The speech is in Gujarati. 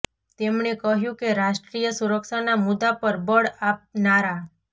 તેમણે કહ્યુ કે રાષ્ટ્રીય સુરક્ષાના મુદ્દા પર બળ આપનારા